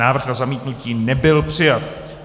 Návrh na zamítnutí nebyl přijat.